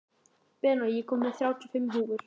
Benóný, ég kom með þrjátíu og fimm húfur!